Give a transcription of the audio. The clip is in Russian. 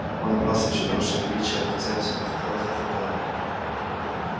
он набрался ещё больше величия а хозяин все хохотал и хохотал